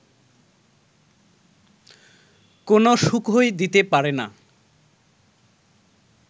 কোনও সুখই দিতে পারে না